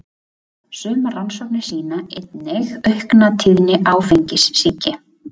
Sumar rannsóknir sýna einnig aukna tíðni áfengissýki.